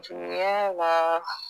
Juguyaala